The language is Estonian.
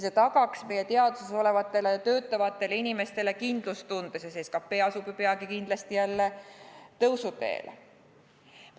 See tagaks meie teaduses olevatele ja seal töötavatele inimestele kindlustunde, sest peagu asub SKT kindlasti jälle tõusuteele.